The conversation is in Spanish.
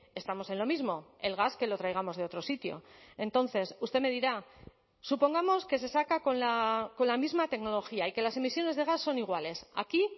estamos en lo mismo el gas que lo traigamos de otro sitio entonces usted me dirá supongamos que se saca con la misma tecnología y que las emisiones de gas son iguales aquí